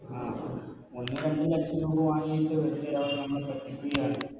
ആ നമ്മൾ വെറുപ്പിക്കുകയാണ്